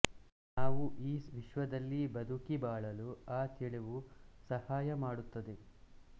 ನಾವು ಈ ವಿಶ್ವದಲ್ಲಿ ಬದುಕಿ ಬಾಳಲು ಆ ತಿಳಿವು ಸಹಾಯಮಾಡುತ್ತದೆ